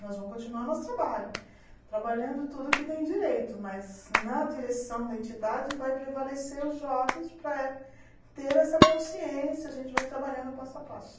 Nós vamos continuar nosso trabalho, trabalhando tudo que tem direito, mas na direção da entidade vai prevalecer os jovens para ter essa consciência, a gente vai trabalhando passo a passo.